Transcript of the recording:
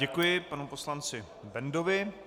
Děkuji panu poslanci Bendovi.